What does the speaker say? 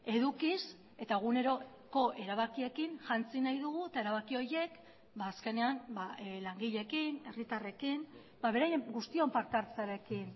edukiz eta eguneroko erabakiekin jantzi nahi dugu eta erabaki horiek azkenean langileekin herritarrekin beraien guztion parte hartzearekin